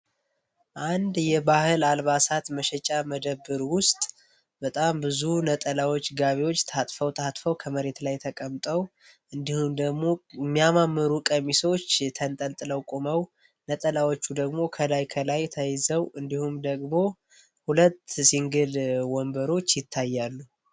አንድ የባህል አልባሳት መሸጫ መደብር ውስጥ በጣም ብዙ ነጠላዎች ገቢዎች ታጥፋ ከመሬት ላይ ተቀምጦ እንዲሁም ደግሞ የሚያማምሩ ቀሚሶ ነጠላዎቹ ደግሞ ከላይ ከላይ ተይዘው እንዲሁም ደግሞ ሁለት ወንበሮች ይታያሉ።